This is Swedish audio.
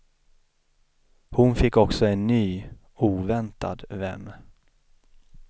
Hon fick också en ny, oväntad vän.